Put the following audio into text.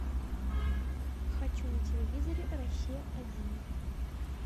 хочу на телевизоре россия один